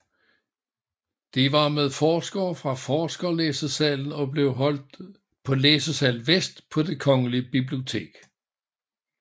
De var med forskere fra Forskerlæsesalen og blev holdt på Læsesal Vest på Det Kongelige Bibliotek